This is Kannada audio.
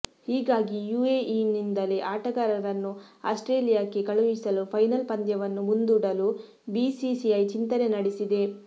ಹೀಗಾಗಿ ಯುಎಇನಿಂದಲೇ ಆಟಗಾರರನ್ನು ಆಸ್ಟ್ರೇಲಿಯಾಕ್ಕೆ ಕಳುಹಿಸಲು ಫೈನಲ್ ಪಂದ್ಯವನ್ನು ಮುಂದೂಡಲು ಬಿಸಿಸಿಐ ಚಿಂತನೆ ನಡೆಸಿದೆ